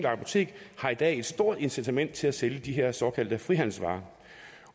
apotek har i dag et stort incitament til at sælge de her såkaldte frihandelsvarer